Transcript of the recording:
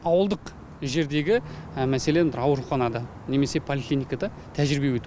ауылдық жердегі мәселен ауруханада немесе поликлиникада тәжірибе өту